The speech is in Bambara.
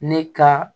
Ne ka